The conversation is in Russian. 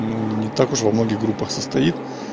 ну он не так уж во многих группах состоит